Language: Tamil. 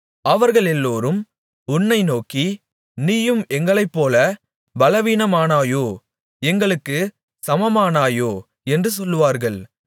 அவர்களெல்லோரும் உன்னை நோக்கி நீயும் எங்களைப்போல பலவீனாமானாயோ எங்களுக்குச் சமமானாயோ என்று சொல்வார்கள்